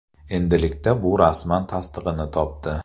Endilikda bu rasman tasdig‘ini topdi.